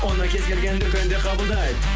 оны кез келген дүкенде қабылдайды